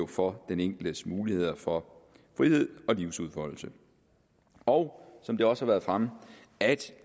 for den enkeltes muligheder for frihed og livsudfoldelse og som det også har været fremme at